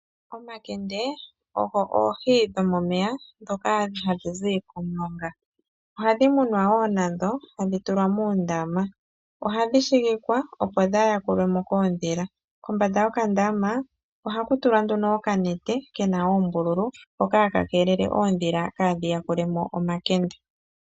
Omakende, ogo oohi dhomomeya ndhoka hadhi zi komulonga. Nadho ohadhi munwa wo, tadhi tulwa moondama. Ohadhi shigikwa, opo kaadhi yakulwe mo koondhila. Kombanda yokandama, ohaku tulwa nduno okanete, ke na oombululu, hoka haka keelele oondhila kaadhi yakule mo omakende.